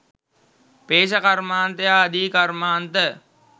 පේෂ කර්මාන්තය ආදී කර්මාන්ත